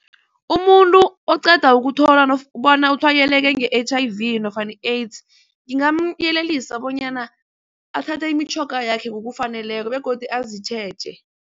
Umuntu oqeda ukuthola bona utshwayeleke nge-H_I_V nofana I-AIDS ngingamyelelisa bonyana athathe imitjhoga yakhe ngokufaneleko begodu azitjheje.